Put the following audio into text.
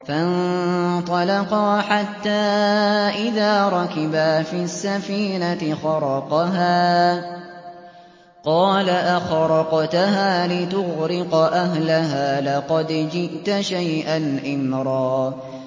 فَانطَلَقَا حَتَّىٰ إِذَا رَكِبَا فِي السَّفِينَةِ خَرَقَهَا ۖ قَالَ أَخَرَقْتَهَا لِتُغْرِقَ أَهْلَهَا لَقَدْ جِئْتَ شَيْئًا إِمْرًا